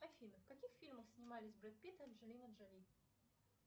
афина в каких фильмах снимались брэд питт и анджелина джоли